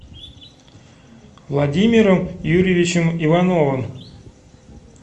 владимиром юрьевичем ивановым